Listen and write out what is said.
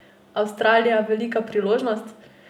Avstralija velika priložnost?